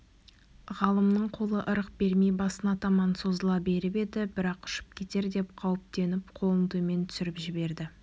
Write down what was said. ғалымның қолы ырық бермей басына таман созыла беріп еді бірақ ұшып кетер деп қауіптеніп қолын төмен түсіріп жіберді